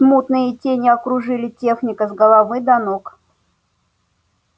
смутные тени окружили техника с головы до ног